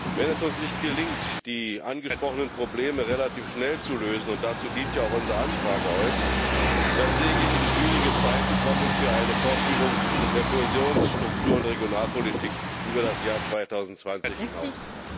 Wenn es uns nicht gelingt, die angesprochenen Probleme relativ schnell zu lösen und dazu dient ja unsere Anfrage heute dann sehe ich schwierige Zeiten kommen für eine Fortführung der Kohäsions Struktur und Regionalpolitik über das Jahr 2020 hinaus.